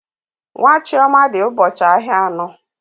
Nwa Chioma dị ụbọchị ahịa anọ.